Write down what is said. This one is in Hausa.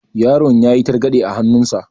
Yaron yayi targaɗe a hannun sa.